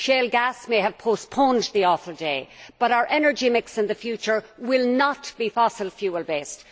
Shale gas may have postponed the awful day, but our energy mix in the future will not be fossil fuel based.